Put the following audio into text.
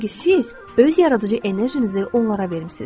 Çünki siz öz yaradıcı enerjinizi onlara verimisiz.